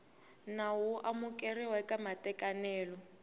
nawu wo amukeriwa ka matekanelo